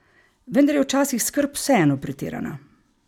Vendar je včasih skrb vseeno pretirana.